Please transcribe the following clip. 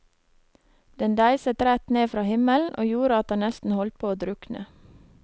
Den deiset rett ned fra himmelen, og gjorde at han nesten holdt på å drukne.